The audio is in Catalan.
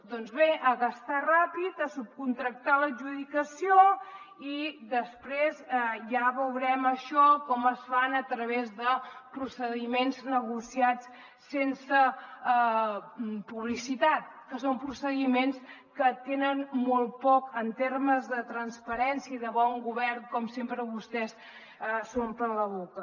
doncs bé a gastar ràpid a subcontractar l’adjudicació i després ja veurem això com es fa a través de procediments negociats sense publicitat que són procediments que tenen molt poc en termes de transparència i de bon govern com sempre vostès s’omplen la boca